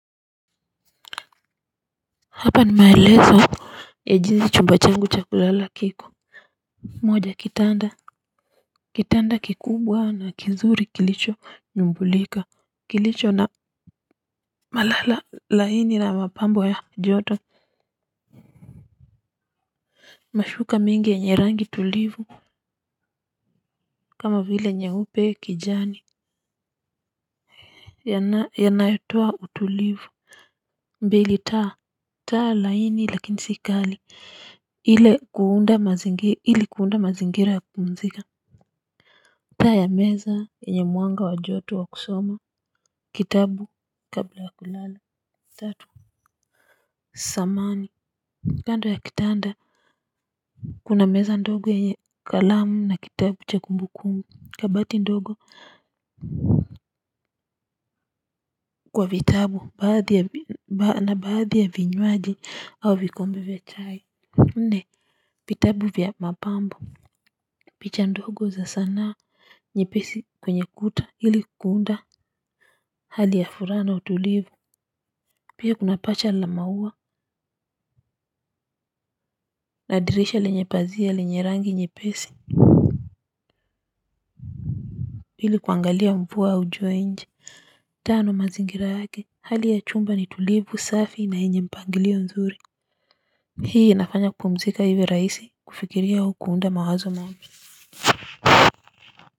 Hapa nimaelezo ya jinsi chumba changu cha kulala kiko. Moja kitanda kitanda kikubwa na kizuri kilicho nyumbulika kilicho na malala laini na mapambo ya joto. Mashuka mingi yenye rangi tulivu kama vile nyeupe kijani yanayotoa utulivu, mbili taa. Taa laini lakini si kali ili ku unda mazingira ya kupumzika. Taa ya meza enye mwanga wa joto wa kusoma, kitabu kabla ya kulale, tatu. Samani, kando ya kitanda. Kuna meza ndogo yenye kalamu na kitabu cha kumbukumbu, kabati ndogo kwa vitabu na baadhi ya vinywaji au vikombe vya chai. Nne, vitabu vya mapambo, picha ndogo za sanaa nyepesi kwenye kuta ili ku unda hali ya furaha na utulivu. Pia kuna pacha la maua na dirisha lenye pazia lenye rangi nyepesi ili kuangalia mvua au jua nje. Tano mazingira yake hali ya chumba ni tulivu safi na enye mpangilio mzuri. Hii inafanya kupumzika hiwe rahisi kufikiria au kuunda mawazo mapya.